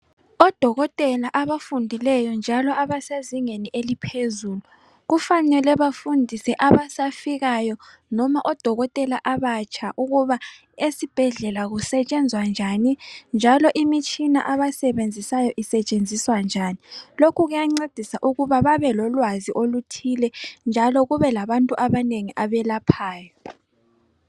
Odokotela abafundileyo njalo abasezingeni eliphezulu kufanele bafundiswe abasafikayo noma odokotela abatsha ukuba esibhedlela kusetshenzwa njani njalo imitshina abayisebenzisayo isetshenziswa njani. Lokhu kuyancedisa ukuba babelolwazi oluthile njalo kube labantu abanengi abelaphayo